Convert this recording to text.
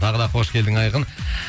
тағы да қош келдің айқын